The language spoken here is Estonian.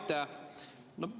Aitäh!